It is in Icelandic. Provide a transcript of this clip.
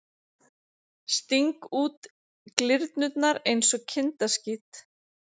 Sting út glyrnurnar einsog kindaskít.